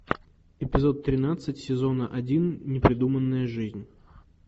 эпизод тринадцать сезона один непридуманная жизнь